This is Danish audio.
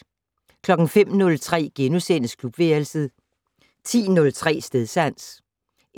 05:03: Klubværelset * 10:03: Stedsans